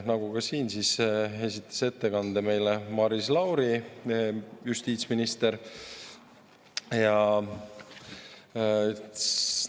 Nagu ka siin esitas ettekande meile justiitsminister Maris Lauri.